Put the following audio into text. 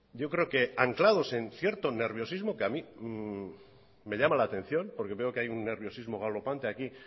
yo creo que anclados en cierto nerviosismo que a mí me llama la atención porque veo que hay un nerviosismo galopante aquí